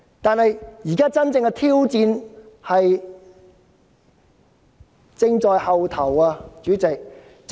然而，真正的挑戰仍在後頭。